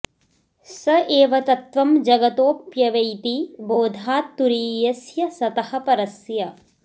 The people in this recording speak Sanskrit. स एव तत्त्वं जगतोऽप्यवैति बोधात् तुरीयस्य सतः परस्य